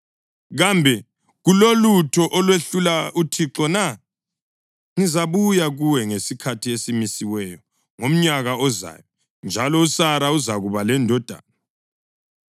Kambe kulolutho olwehlula uThixo na? Ngizabuya kuwe ngesikhathi esimisiweyo ngomnyaka ozayo, njalo uSara uzakuba lendodana.”